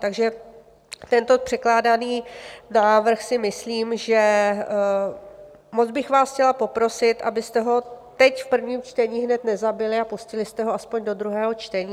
Takže tento předkládaný návrh si myslím, že - moc bych vás chtěla poprosit, abyste ho teď v prvním čtení hned nezabili a pustili jste ho aspoň do druhého čtení.